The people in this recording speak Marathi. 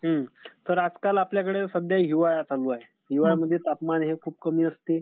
तर आजकाल आपल्याकडे सध्या हिवाळा चालू आहे. हिवाळा म्हणजे तापमान हे खूप कमी असते.